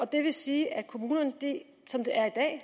det vil sige at kommunerne som det er i dag